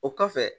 O kɔfɛ